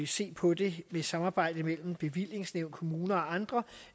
se på det med samarbejde mellem bevillingsnævn kommuner og andre